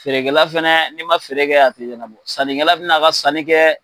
Feerekɛla fana n'i ma feere kɛ ,a tɛ ɲɛnabɔ, ka sannikɛla bɛ a ka sanni kɛ.